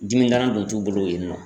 Dimidalan dɔ t'u bolo yen nɔ.